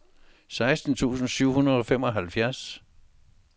seksten tusind syv hundrede og femoghalvfjerds